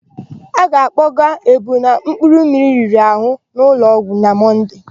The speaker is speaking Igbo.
A ga-akpọgaa Egbuna mkpụrụmmiri riri àhụ́ n'ụlọọgwụ na Monday.